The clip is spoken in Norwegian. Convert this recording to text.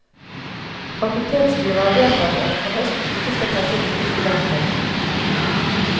Fakultetsstyret har vedtatt at det fra høsten ikke skal tas opp nye studenter.